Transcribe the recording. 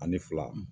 Ani fila